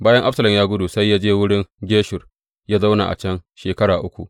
Bayan Absalom ya gudu sai ya je wurin Geshur, ya zauna a can shekara uku.